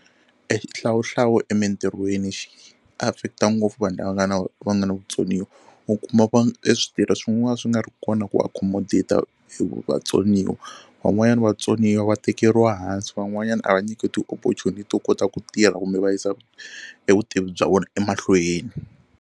E xihlawuhlawu emintirhweni xi affect-a ngopfu vanhu lava nga na va nga na vutsoniwa u kuma e switirhi swin'wana swi nga ri kona ku accommodate-a e vu vatsoniwa van'wani vatsoniwa va tekeriwa hansi van'wanyana a va nyikiwi ti-opportunity to kota ku tirha kumbe va yisa e vutivi bya vona emahlweni.